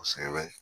Kosɛbɛ